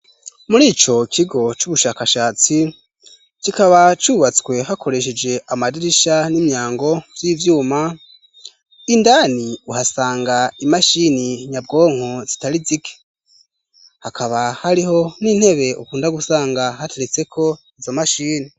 Muri ico kigo c'ubushakashatsi kikaba cubatswe hakoresheje amadirisha n'imyango vy'ivyuma indani uhasanga imashini nyabwonko zitari zike hakaba hariho n'intebe ukunda gusanga hateretseko izo mashini.